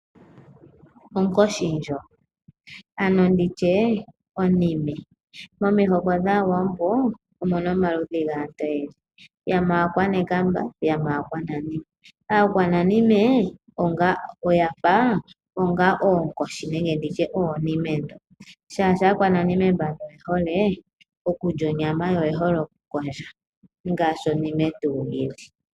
Ongoshi ndoka, ano onime. Momihoko dhAawambo omu na omazimo gaantu ogendji. Yamwe Aakwanekamba yo yamwe Aakwananime. Aakwananime ohaya itangele oonkoshi nenge oonime ndhoka, oshoka Aakwananime oye hole okulya onyama yo oye hole okukondja ngaashi onime tuu yi li.